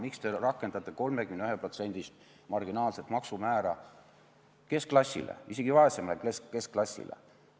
Miks te rakendate 31%-list marginaalset maksumäära keskklassile, isegi vaesemale keskklassile?